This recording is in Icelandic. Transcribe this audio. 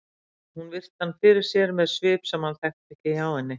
Hún virti hann fyrir sér með svip sem hann þekkti ekki hjá henni.